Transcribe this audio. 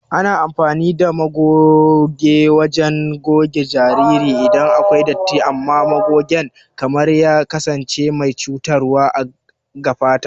Ana amfani ɗa magoge wajen goge jariri iɗan akwai ɗatti amman magogen kar ya kasance mai cutarwa ga fata.